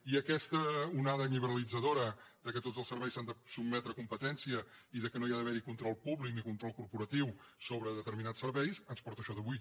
i aquesta onada liberalitzadora que tots els serveis s’han de sotmetre a competència i que no hi ha d’haver control públic ni control corporatiu sobre determinats serveis ens porta això d’avui